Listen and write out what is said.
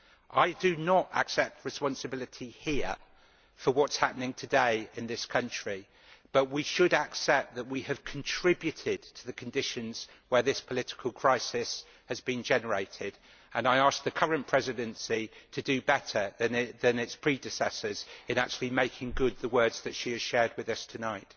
I do not accept responsibility here for what is happening today in this country, but we should accept that we have contributed to the conditions where this political crisis has been generated and I ask the current Presidency to do better than its predecessors in actually making good the words that she has shared with us tonight.